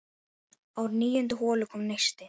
Á níundu holu kom neisti.